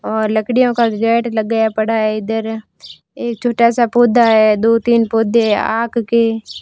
और लकड़ियों का को गेट लगाया पड़ा है। इधर एक छोटा सा पौधा है। दो-तीन पौधे हैं। आक के--